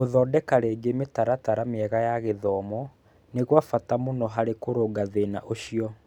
Gũthondeka rĩngĩ mĩtaratara mĩega ya gĩthomo nĩ kwa bata mũno harĩ kũrũnga thĩna ũcio.